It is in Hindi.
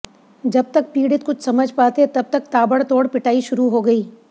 जब तक पीड़ित कुछ समझ पाते तब तक ताबड़तोड़ पिटाई शुरू हो गई